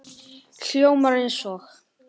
Hljómar eins og